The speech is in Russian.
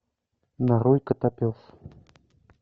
нарой котопес